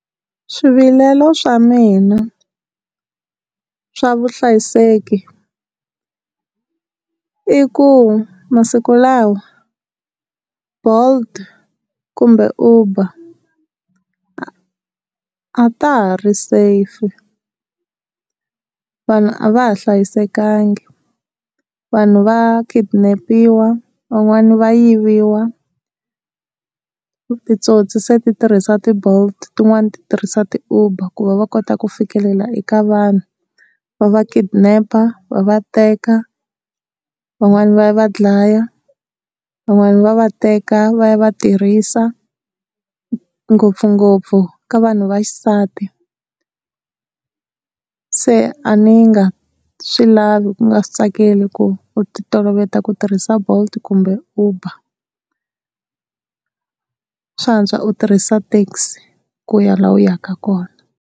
Swivilelo swa mina swa vuhlayiseki i ku masiku lawa bolt kumbe Uber a a ta ha ri safe, vanhu a va ha hlayisekanga vanhu va kidnap-iwa van'wani va yiviwa, titsotsi se ti tirhisa ti-bolt tin'wani tirhisa ti-Uber ku va va kota ku fikelela eka vanhu va va kidnap-a va va teka van'wani va ya va dlaya van'wani va va teka va ya va tirhisa ngopfungopfu ka vanhu va xisati. Se a ni nga swi lavi ku nga swi tsakeli ku u ti toloveta ku tirhisa bolt kumbe Uber, swa antswa u tirhisa taxi ku ya laha u yaka kona.